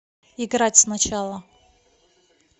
играть сначала